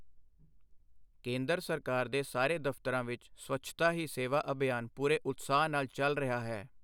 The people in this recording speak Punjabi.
ਕੇਂਦਰ ਸਰਕਾਰ ਦੇ ਸਾਰੇ ਦਫ਼ਤਰਾਂ ਵਿੱਚ ਸਵੱਛਤਾ ਹੀ ਸੇਵਾ ਅਭਿਆਨ ਪੂਰੇ ਉਤਸ਼ਾਹ ਨਾਲ ਚੱਲ ਰਿਹਾ ਹੈ।